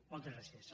moltes gràcies